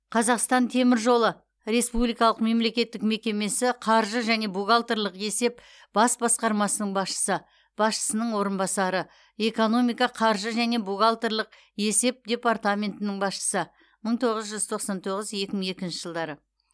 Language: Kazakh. қазақстан темір жолы республикалық мемлекеттік мекемесі қаржы және бухгалтерлік есеп бас басқармасының басшысы басшының орынбасары экономика қаржы және бухгалтерлік есеп департаменті басшысы мың тоғыз жүз тоқсан тоғыз екі мың екінші жылдары